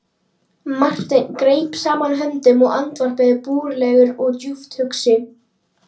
Marteinn greip saman höndum og andvarpaði, búralegur og djúpt hugsi.